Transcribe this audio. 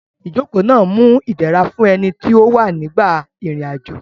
Ìjókòó náà mú idẹra fún ẹni tí ó ń wà nígbà ìrìn àjò